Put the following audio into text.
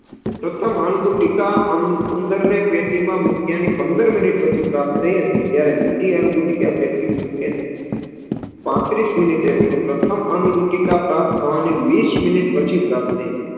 પ્રથમ અંગુટિકા ઉન ઉંદરને પેટીમાં મૂક્યાની પંદરમિનિટ પ્રાપ્ત થઇ હતી જયારે બીજી અંગુટિકા પેટીમાં મૂક્યાની પાંત્રીશ મિનિટે એટલેકે પ્રથમ અંગુટિકા પ્રાપ્ત થવાની વિષ મિનિટ પછી પ્રપ્ત થઇ